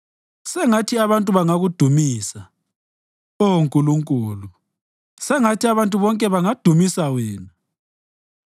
Sengathi bonke abantu bangakudumisa Oh Nkulunkulu; sengathi abantu bonke bangadumisa wena.